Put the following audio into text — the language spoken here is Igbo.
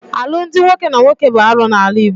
Alụmdi nwoke na nwoke bụ arụ n'ala Igbo.